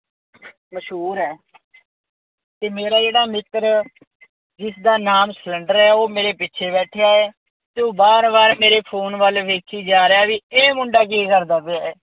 ਮਸ਼ਹੂਰ ਹੈ। ਅਤੇ ਮੇਰਾ ਜਿਹੜਾ ਮਿੱਤਰ ਜਿਸਦਾ ਨਾਮ ਸਿਲੰਡਰ ਹੈ ਉਹ ਮੇਰੇ ਪਿੱਛੇ ਬੈਠਿਆਂ ਹੈ ਅਤੇ ਉਹ ਵਾਰ ਵਾਰ ਮੇਰੇ ਫੋਨ ਵੱਲ ਵੇਖੀ ਜਾ ਰਿਹਾ, ਬਈ ਇਹ ਮੁੰਡਾ ਕੀ ਕਰਦਾ ਪਿਆ।